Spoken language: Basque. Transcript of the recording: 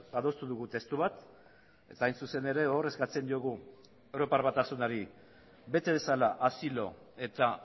adostu dugu testu bat eta hain zuzen ere hor eskatzen diogu europar batasunari bete dezala asilo eta